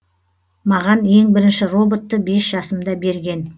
маған ең бірінші роботты бес жасымда берген